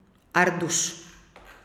Arduš.